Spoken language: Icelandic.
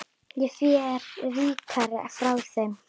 Ég fer ríkari frá þeim.